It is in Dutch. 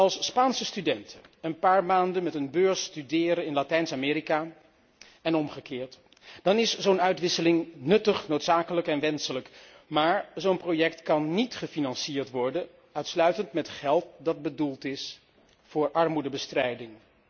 Als Spaanse studenten een paar maanden met een beurs studeren in Latijns Amerika en omgekeerd, dan is zo'n uitwisseling nuttig, noodzakelijk en wenselijk, maar zo'n project kan niet uitsluitend gefinancierd worden met geld dat bedoeld is voor armoedebestrijding.